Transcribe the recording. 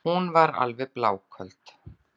Hún er alveg bláköld.